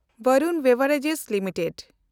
ᱵᱷᱮᱱᱰᱩᱱ beverages limited